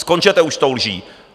Skončete už s tou lží!